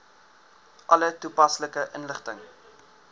alle toepaslike inligting